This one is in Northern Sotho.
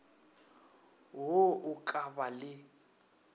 wo o ka ba le